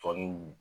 Tɔɔni